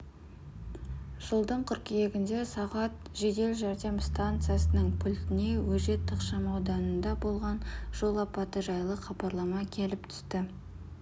жылдың қыркүйегінде сағат жедел жәрдем станциясының пультіне өжет ықшамауданында болған жол апаты жайлы хабарлама келіп түсті